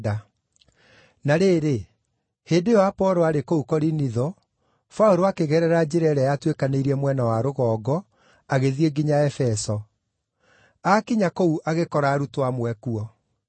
Na rĩrĩ, hĩndĩ ĩyo Apolo arĩ kũu Korinitho, Paũlũ akĩgerera njĩra ĩrĩa yatuĩkanĩirie mwena wa rũgongo agĩthiĩ nginya Efeso. Aakinya kũu agĩkora arutwo amwe kuo.